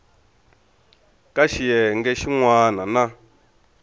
ka xiyenge xin wana na